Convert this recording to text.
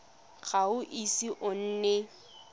ga o ise o nne